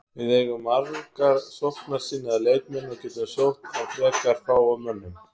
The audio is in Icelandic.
Við eigum marga sóknarsinnaða leikmenn og getum sótt á frekar fáum mönnum.